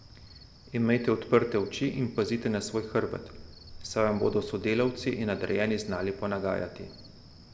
Imejte odprte oči in pazite na svoj hrbet, saj vam bodo sodelavci in nadrejeni znali ponagajati.